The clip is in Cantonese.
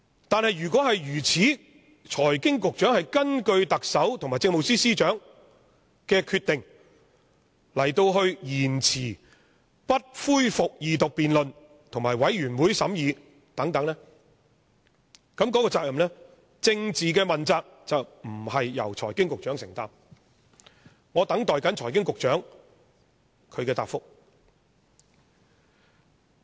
但是，如果如此，即財經事務及庫務局局長是根據特首和政務司司長的決定而延遲不恢復二讀辯論和由全體委員會審議等，那麼政治問責便不是由財經事務及庫務局局長承擔。